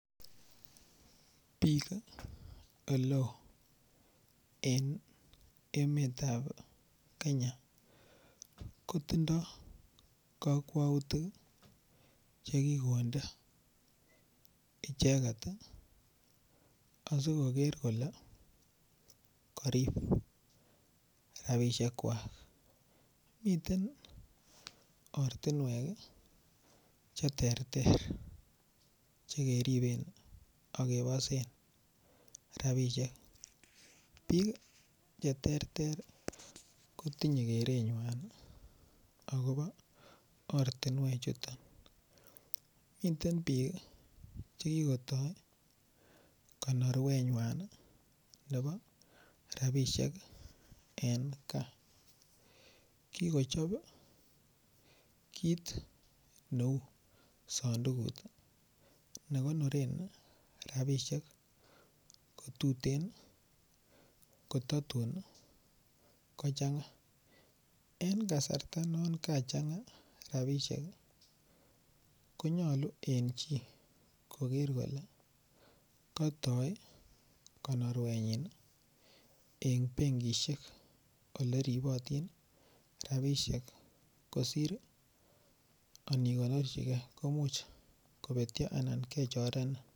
Bik oleo en emetab Kenya ko tindoi kokwoutik Che ki konde icheget asi koger kole korib rabisiek kwak miten ortinwek Che terter Che keriben ak kebosen rabisiek bik Che terter kotinyei kerenywan agobo ortinwechuton miten bik Che kigotoi konorwenywan nebo rabisiek en gaa kikochob kit neu sandukut ne konoren rabisiek ko tuten ko tatun kochanga en kasarta non kachanga rabisiek ko nyolu en chi koger kole katoi konorwenyin en benkisiek Ole ribotin rabisiek kosir igonorchigei komuch kobetyo anan kechorenin